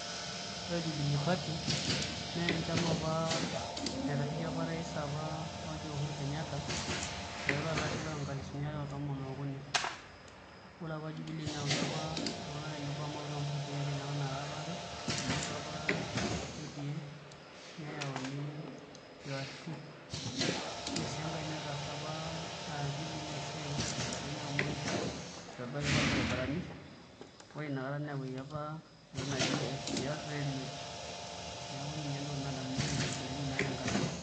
Ore Jubilee party naa enchama apa naitasheiki apa orais apa oji Uhuru Kenyatta aiteru tolari loonkalifuni aare otomon ookuni ore apa Jubilee neyautua iltung'anak tenebo amu eyautua mpatii ake ninye apa naara are amu eyautua UDA neyauni URP ore sii enkae netaasa apa Jubilee esiai tenkata enye amu itobira apa irbaribarani ore inakata neyauaki apa entoki naji SGR railway neeku ninye entokitin naadamunyieki naa Jubilee tenakata enye.